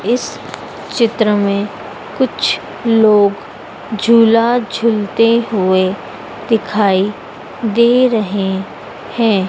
इस चित्र में कुछ लोग झूला झूलते हुए दिखाई दे रहे है।